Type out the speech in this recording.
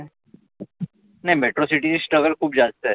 नाही metro city struggle खुप जास्त आहे.